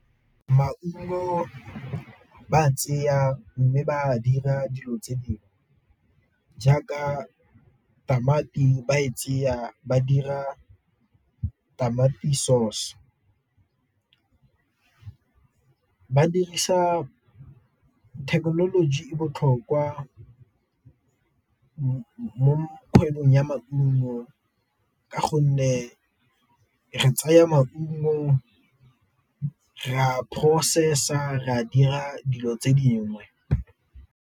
Maungo ba mme ba dira dilo tse dingwe, jaaka tamati ba e ba dira tamati sauce, thekenoloji e botlhokwa mo kgwebong ya maungo ka gonne re tsaya maungo re a process-a re a dira dilo tse dingwe.